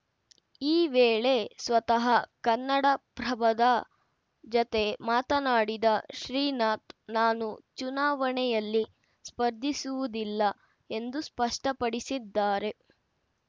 ಈ ವೇಳೆ ಸ್ವತಃ ಕನ್ನಡಪ್ರಭದ ಜತೆ ಮಾತನಾಡಿದ ಶ್ರೀನಾಥ್‌ ನಾನು ಚುನಾವಣೆಯಲ್ಲಿ ಸ್ಪರ್ಧಿಸುವುದಿಲ್ಲ ಎಂದು ಸ್ಪಷ್ಟಪಡಿಸಿದ್ದಾರೆ